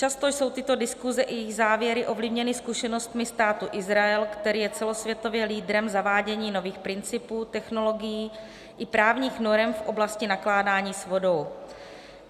Často jsou tyto diskuse i jejich závěry ovlivněny zkušenostmi Státu Izrael, který je celosvětově lídrem zavádění nových principů, technologií i právních norem v oblasti nakládání s vodou.